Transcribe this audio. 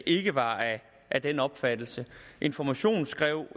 ikke var af den opfattelse information skrev